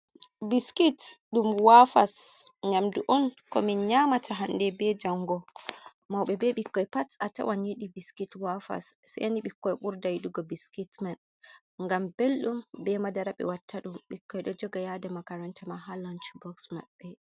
Biskit dum wafas nyamdu on, ko min nyamata hande be jango mauɓe be ɓikkoi pat a tawan yidi biskit wafas, seni ɓikkoi burdaydugo biskitman ,gam beldum be madaraɓe wattadum ɓikkoi do joga yada makaranta ma ha lanch boks maɓɓe.